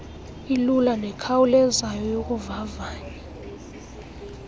ilula nekhawulezayo yokuvavanya